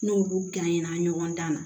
N'olu ɲɔgɔn dan na